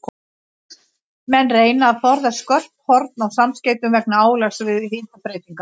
Menn reyna að forðast skörp horn á samskeytum vegna álags við hitabreytingar.